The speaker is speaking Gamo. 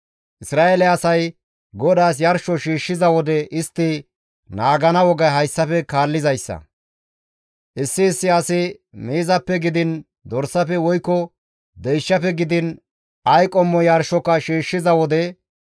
«Isra7eele asay GODAAS yarsho shiishshiza wode istti naagana wogay hayssafe kaallizayssa; issi issi asi miizappe gidiin dorsafe woykko deyshafe gidiin ay qommo yarshoka shiishshiza wode,